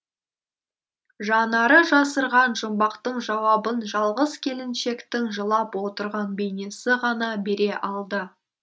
жанары жасырған жұмбақтың жауабын жалғыз келіншектің жылап отырған бейнесі ғана бере алды